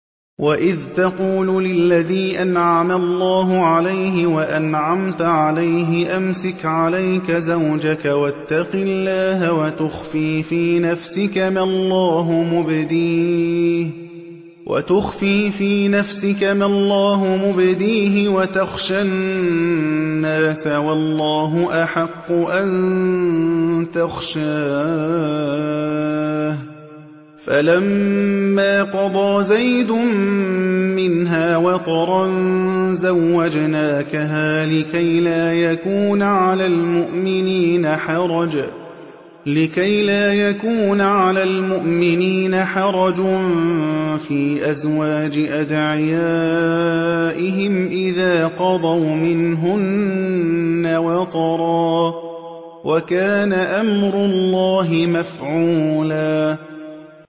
وَإِذْ تَقُولُ لِلَّذِي أَنْعَمَ اللَّهُ عَلَيْهِ وَأَنْعَمْتَ عَلَيْهِ أَمْسِكْ عَلَيْكَ زَوْجَكَ وَاتَّقِ اللَّهَ وَتُخْفِي فِي نَفْسِكَ مَا اللَّهُ مُبْدِيهِ وَتَخْشَى النَّاسَ وَاللَّهُ أَحَقُّ أَن تَخْشَاهُ ۖ فَلَمَّا قَضَىٰ زَيْدٌ مِّنْهَا وَطَرًا زَوَّجْنَاكَهَا لِكَيْ لَا يَكُونَ عَلَى الْمُؤْمِنِينَ حَرَجٌ فِي أَزْوَاجِ أَدْعِيَائِهِمْ إِذَا قَضَوْا مِنْهُنَّ وَطَرًا ۚ وَكَانَ أَمْرُ اللَّهِ مَفْعُولًا